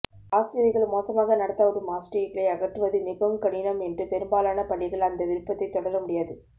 ஆசிரியர்கள் மோசமாக நடத்தப்படும் ஆசிரியர்களை அகற்றுவது மிகவும் கடினம் என்று பெரும்பாலான பள்ளிகள் அந்த விருப்பத்தை தொடர முடியாது